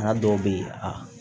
dɔw bɛ ye a